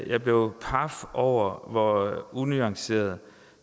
jeg blev paf over hvor unuanceret